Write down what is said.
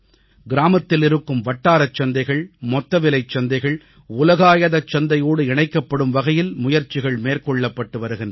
கிராமத்தில் இருக்கும் வட்டாரச் சந்தைகள் மொத்தவிலைச் சந்தைகள் உலகச் சந்தையோடு இணைக்கப்படும் வகையில் முயற்சிகள் மேற்கொள்ளப்பட்டு வருகின்றன